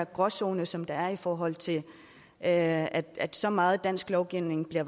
gråzone som der er i forhold til at at så meget dansk lovgivning bliver